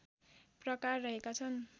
प्रकार रहेका छन्